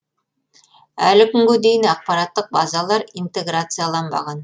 әлі күнге дейін ақпараттық базалар интеграцияланбаған